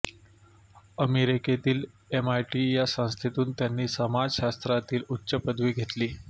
अमेरिकेतील एमआयटी या संस्थेतून त्यांनी समाजशास्त्रातील उच्च पदवी घेतली